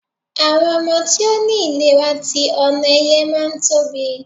àwọn ọmọ tí o ni ilera ti onoeye ma n Tobi